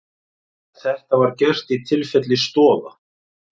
Þetta var gert í tilfelli Stoða